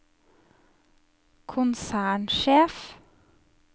konsernsjef